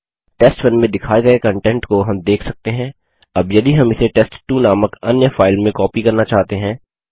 टेस्ट1 में दिखाये गए कन्टेंट को हम देख सकते हैं अब यदि हम इसे टेस्ट2 नामक अन्य फाइल में कॉपी करना चाहते हैं